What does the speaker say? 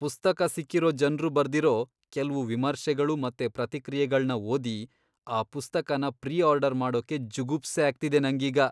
ಪುಸ್ತಕ ಸಿಕ್ಕಿರೋ ಜನ್ರು ಬರ್ದಿರೋ ಕೆಲ್ವು ವಿಮರ್ಶೆಗಳು ಮತ್ತೆ ಪ್ರತಿಕ್ರಿಯೆಗಳ್ನ ಓದಿ ಆ ಪುಸ್ತಕನ ಪ್ರೀ ಆರ್ಡರ್ ಮಾಡೋಕೇ ಜುಗುಪ್ಸೆ ಆಗ್ತಿದೆ ನಂಗೀಗ.